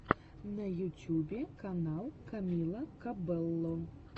на ютюбе канал камила кабелло